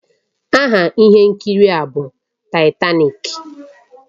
Aha ihe nkiri a bụ Taitanik